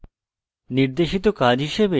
নির্দেশিত কাজ হিসাবে